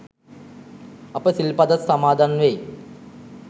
අපි සිල් පදත් සමාදන් වෙයි.